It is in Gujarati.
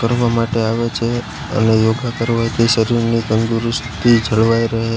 કરવા માટે આવે છે અને યોગા કરવાથી શરીરને તંદુરસ્તી જળવાઈ રહે--